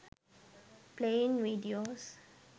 playing videos